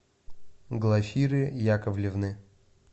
глафиры яковлевны